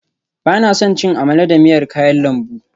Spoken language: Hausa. Ba na son cin amala da miyar kayan lambu